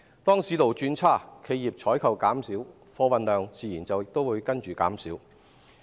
當市道轉差，企業採購減少，貨運量自然亦隨之減少。